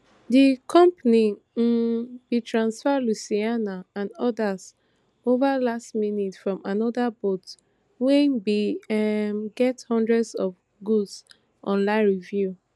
di company um bin transfer lucianna and odas ova last minute from anoda boat wey bin um get hundreds of good online reviews